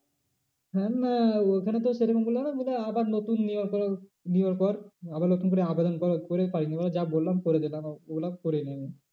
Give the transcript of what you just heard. না ওইখানে তো সে রকম বললো না বললো আবার নতুন নেবার পর, আবার নতুন করে আবেদন করে করে দিলাম। ও গুলো করিনি আমি।